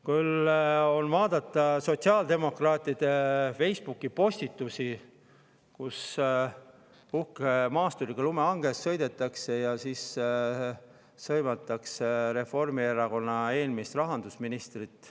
Küll saab vaadata sotsiaaldemokraatide Facebooki postitusi, kus uhke maasturiga lumehanges sõidetakse ja siis sõimatakse Reformierakonna eelmist rahandusministrit.